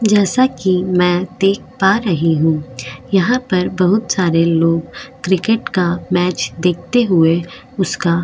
जैसा कि मैं देख पा रही हूं यहां पर बहुत सारे लोग क्रिकेट का मैच देखते हुए उसका --